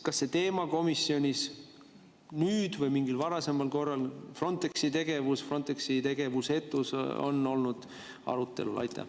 Kas see teema, Frontexi tegevus või Frontexi tegevusetus, on komisjonis nüüd või mingil varasemal korral olnud arutelul?